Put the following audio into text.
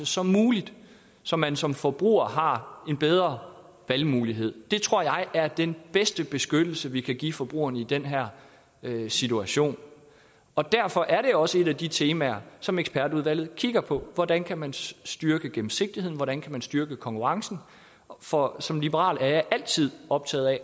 som muligt så man som forbruger har en bedre valgmulighed det tror jeg er den bedste beskyttelse vi kan give forbrugerne i den her situation derfor er det også et af de temaer som ekspertudvalget kigger på hvordan kan man styrke gennemsigtigheden hvordan kan man styrke konkurrencen for som liberal er jeg altid optaget af